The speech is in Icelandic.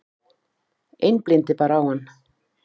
Einblíndi bara á hann.